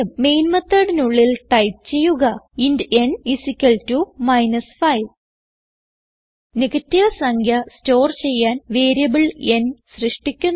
main methodനുള്ളിൽ type ചെയ്യുക int n minus 5 negative സംഖ്യ സ്റ്റോർ ചെയ്യാൻ വേരിയബിൾ n സൃഷ്ടിക്കുന്നു